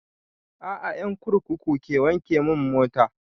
A'a ƴan kurkuku ke wanke mun mota